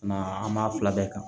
Na an b'a fila bɛɛ kan